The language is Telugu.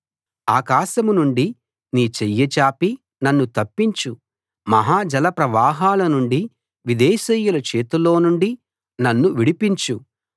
ఆకాశం నుండి నీ చెయ్యి చాపి నన్ను తప్పించు మహా జలప్రవాహాల నుండి విదేశీయుల చేతిలోనుండి నన్ను విడిపించు